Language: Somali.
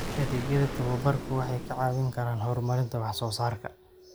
Adeegyada tababarku waxay kaa caawin karaan horumarinta wax soo saarka.